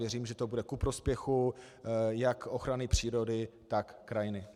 Věřím, že to bude ku prospěchu jak ochrany přírody, tak krajiny.